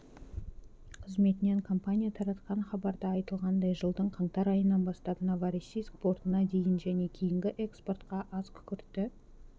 қызметінен компания таратқан хабарда айтылғандай жылдың қаңтар айынан бастап новороссийск портынадейін және кейінгі экспортқа азкүкіртті